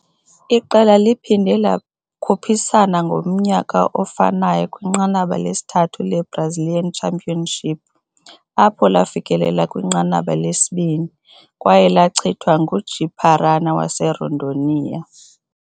Iqela liphinde lakhuphisana ngomnyaka ofanayo kwiNqanaba lesithathu le-Brazilian Championship, apho lafikelela kwinqanaba lesibini, kwaye lachithwa nguJi -Paraná, waseRondônia.